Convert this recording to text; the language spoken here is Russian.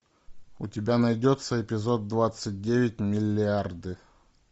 у тебя найдется эпизод двадцать девять миллиарды